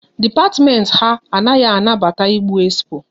Dipatimenti ha anaghị anabata ịgbu expo